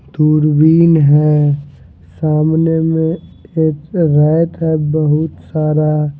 दूरबीन है सामने में एक है बहुत सारा--